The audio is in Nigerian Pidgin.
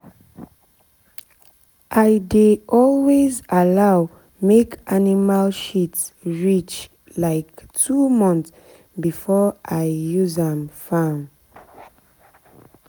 i dey always allow make animal shit reach like two month before i use am farm.